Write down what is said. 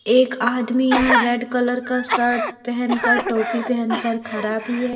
एक आदमी यहां रेड कलर का शर्ट पहेनकर टोपी पहेनकर खड़ा भी है।